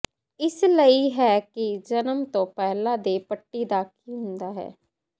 ਇਸ ਲਈ ਹੈ ਕਿ ਜਨਮ ਤੋਂ ਪਹਿਲਾਂ ਦੇ ਪੱਟੀ ਦਾ ਕੀ ਹੁੰਦਾ ਹੈ